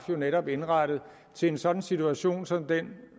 netop indrettet til en sådan situation som den